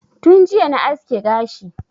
Tun jiya na aske gashi